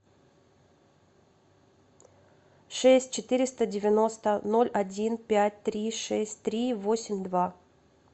шесть четыреста девяносто ноль один пять три шесть три восемь два